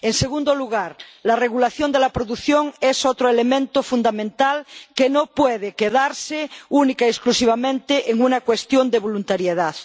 En segundo lugar la regulación de la producción es otro elemento fundamental que no puede quedarse única y exclusivamente en una cuestión de voluntariedad.